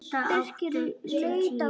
Handa átta til tíu